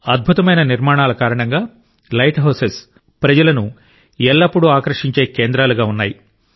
అద్భుతమైన నిర్మాణాల కారణంగా లైట్ హౌసెస్ ప్రజలను ఎల్లప్పుడూ ఆకర్షించే కేంద్రాలుగా ఉన్నాయి